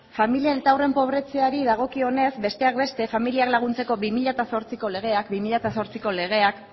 familia eta haurren pobretzeari dagokionez besteak beste familiak laguntzeko bi mila zortziko legeak